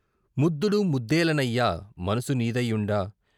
ముద్దుడు ముద్దేలనయ్యా, మనసు నీదై యుండ